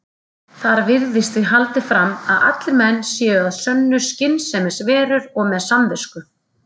Þar virðist því haldið fram að allir menn séu að sönnu skynsemisverur og með samvisku.